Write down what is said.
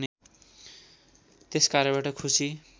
त्यस कार्यबाट खुसी